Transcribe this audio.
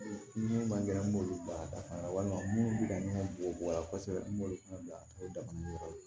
Min man kɛnɛ an b'olu bila ka taa da fana walima minnu bɛ ka ɲɛ bɔ bɔgɔ la kosɛbɛ n b'olu fana bila n dayɔrɔ ye